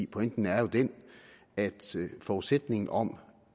pointen er jo den at forudsætningen om